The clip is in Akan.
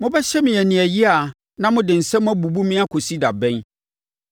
“Mobɛhyɛ me aniɛyaa na mode nsɛm abubu me akɔsi da bɛn?